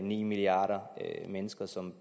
ni milliarder mennesker som